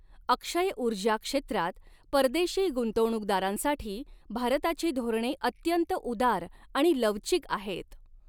अक्षयऊर्जा क्षेत्रात परदेशी गुंतवणूकदारांसाठी भारताची धोरणे अत्यंत उदार आणि लवचिक आहेत.